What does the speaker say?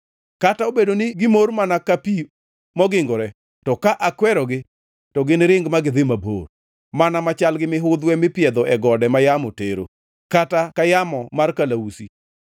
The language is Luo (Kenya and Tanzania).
Kata obedo ni gimor mana ka pi mogingore, to ka akwerogi to giniring ma gidhi mabor, mana machal gi mihudhwe mipiedho e gode ma yamo tero, kata ka yamo mar kalausi.